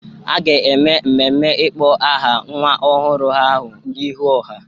A ga-eme mmemme ịkpọ aha nwa ọhụrụ ahụ n'ihu ọha.